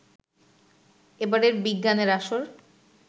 এবারের বিজ্ঞানের আসর